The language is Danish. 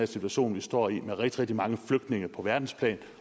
situation vi står i med rigtig rigtig mange flygtninge på verdensplan